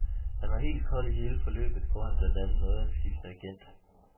Han var helt kold i hele forløbet, hvor han blandt andet nåede at skifte agent.